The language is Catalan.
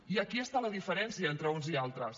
i aquí està la diferència entre uns i altres